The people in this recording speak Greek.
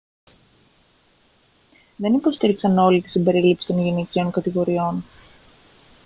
δεν υποστήριξαν όλοι την συμπερίληψη των γυναικείων κατηγοριών